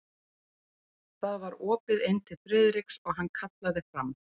Það var opið inn til Friðriks og hann kallaði fram